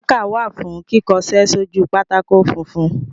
Mákà wà fún kíkọṣẹ́ sójú pátákó funfun.